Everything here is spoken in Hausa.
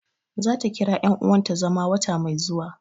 Za ta kira yan uwanta zama wata mai zuwa